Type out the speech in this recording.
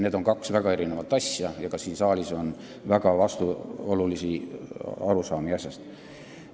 Need on kaks väga erinevat asja ja ka siin saalis on väga vastuolulisi arusaamu sellest asjast.